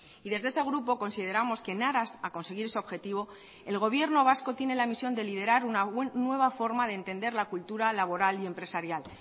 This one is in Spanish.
y desde este grupo consideramos que en aras a conseguir ese objetivo el gobierno vasco tiene la misión de liderar una nueva forma de entender la cultura laboral y empresarial